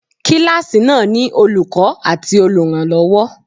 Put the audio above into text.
Kíláàsì náà ni Olùkọ́ àti olùrànlọ́wọ́.